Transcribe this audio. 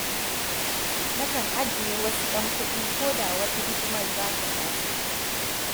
Nakan ajiye wasu 'yan kuɗi ko da wata hidimar za ta taso